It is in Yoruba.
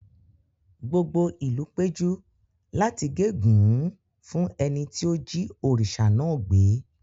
Gbogbo ìlú péjú láti gégùn ún fún ẹni tí ó jí òrìṣà náà gbé.